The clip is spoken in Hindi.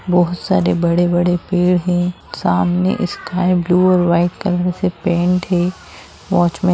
बहुत सारे बड़े-बड़े पेड़ हैं सामने स्काई ब्लू और वाइट कलर से पेंट है वॉचमैन --